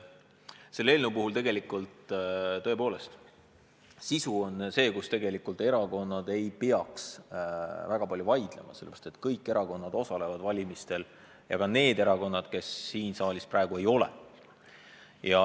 Selle eelnõu puhul, tõepoolest, on sisu see, mille üle erakonnad tegelikult ei peaks väga palju vaidlema, sellepärast et kõik erakonnad osalevad valimistel – ka need erakonnad, keda siin saalis praegu ei ole.